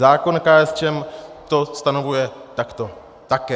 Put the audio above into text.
Návrh KSČM to stanovuje takto také.